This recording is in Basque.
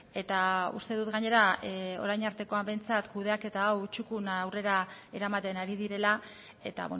eta uste dut gainera orain artekoan behintzat kudeaketa hau txukun aurrera eramaten ari direla eta